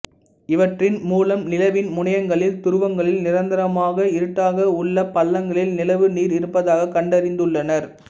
இவற்றின் மூலம் நிலவின் முனையங்களில் துருவங்களில் நிரந்தரமாக இருட்டாக உள்ளப் பள்ளங்களில் நிலவு நீர் இருப்பதாகக் கண்டறிந்துள்ளனர்